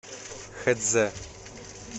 хэцзэ